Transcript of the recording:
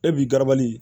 E b'i garabali